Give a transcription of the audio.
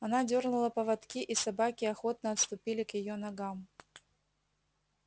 она дёрнула поводки и собаки охотно отступили к её ногам